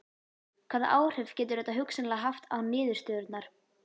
Hvaða áhrif getur þetta hugsanlega haft á niðurstöðurnar?